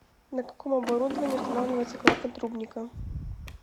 на каком оборудовании устанавливается клапан трубника